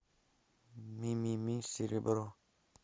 мимими серебро